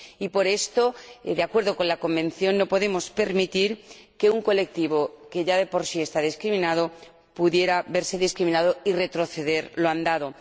Y por esto, de acuerdo con la Convención, no podemos permitir que un colectivo que ya de por sí está discriminado pudiera verse doblemente discriminado, y retroceder lo andado.